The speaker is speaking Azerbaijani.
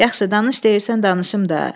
Yaxşı, danış deyirsən danışım da.